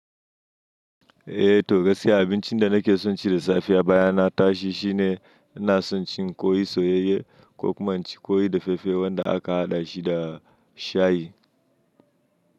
Eh to gaskiya abincin da nake son ci da safe a baya na tashi shine ina son cin kwai soyayye ko kuma ci kwai da fefe wanda aka haɗa shi da shayi.